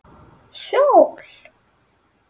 Hjól?